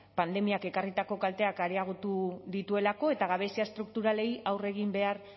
pandemiak ekarritako kalteak areagotu dituelako eta gabezia estrukturalei aurre egin behar